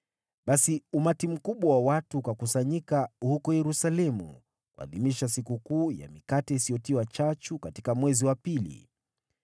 Basi umati mkubwa wa watu ukakusanyika huko Yerusalemu kuadhimisha Sikukuu ya Mikate Isiyotiwa Chachu katika mwezi wa pili.